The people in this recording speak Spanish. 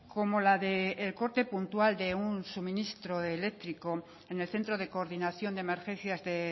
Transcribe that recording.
como la del corte puntual de suministro eléctrico en el centro de coordinación de emergencias de